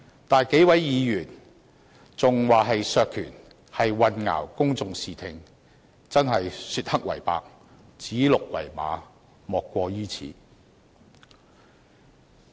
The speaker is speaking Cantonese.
但是，數位議員說這是削權，便是混淆公眾視聽，真的是說黑為白，指鹿為馬，莫過於此。